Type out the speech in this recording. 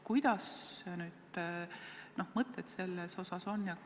Mis mõtted teil selles osas on?